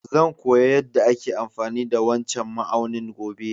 Zan koya yada ake amfani da wancan ma'aunin gobe.